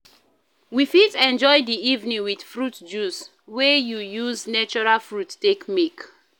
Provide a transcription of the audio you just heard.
We fit enjoy di evening with fruit juice wey you use natural fruit take make